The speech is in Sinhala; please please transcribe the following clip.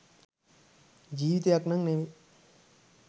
ජීවිතයක් නම් නෙවෙයි.